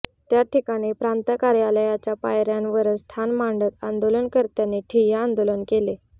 त्या ठिकाणी प्रांत कार्यालयाच्या पायऱ्यांवरच ठाण मांडत आंदोलनकर्त्यांनी ठिय्या आंदोलन केले